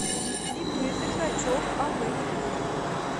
ип сергачев ав телефон